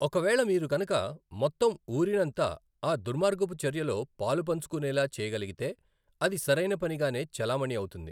ఒక వేళ మీరు కనుక మొత్తం ఊరినంతా ఆ దుర్మార్గపు చర్య లో పాలు పంచుకునేలా చేయగలిగితే అది సరైన పని గానే చెలామణి అవుతుంది.